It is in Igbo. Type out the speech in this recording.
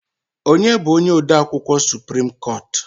Onye bụ onye odeakwụkwọ suprim koot?